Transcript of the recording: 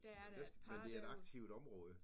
Der er der et par der